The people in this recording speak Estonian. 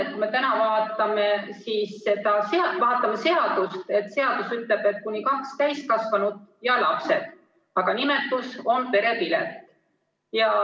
Kui me täna vaatame seadust, siis seadus ütleb, et kuni kaks täiskasvanut ja lapsed, aga nimetus on perepilet.